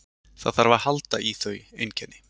Það þarf að halda í þau einkenni.